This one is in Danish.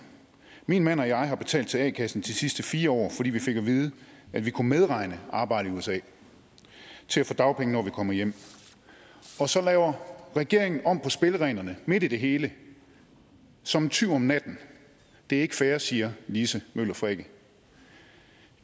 min mand og jeg har betalt til a kassen i de sidste fire år fordi vi fik at vide at vi kunne medregne arbejdet i usa til at få dagpenge når vi kommer hjem og så laver regeringen om på spillereglerne midt i det hele som en tyv om natten det er ikke fair siger lise møller frikke